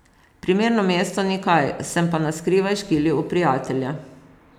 Primerno mesto, ni kaj, sem pa na skrivaj škilil v prijatelja.